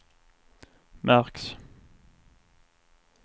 märks